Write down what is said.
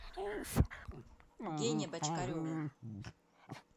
гене бочкареву